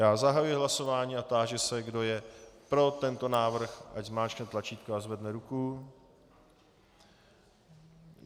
Já zahajuji hlasování a táži se, kdo je pro tento návrh, ať zmáčkne tlačítko a zvedne ruku.